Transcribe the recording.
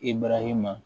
I barahima